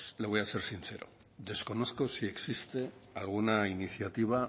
le voy a ser sincero desconozco si existe alguna iniciativa